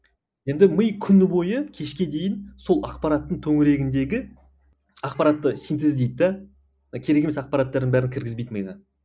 енді ми күні бойы кешке дейін сол ақпараттың төңірегіндегі ақпаратты синтездейді де керек емес ақпараттардың бәрін кіргізбейді миға